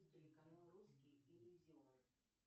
телеканал русский иллюзион